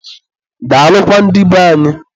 daalụkwa ndị be anyị.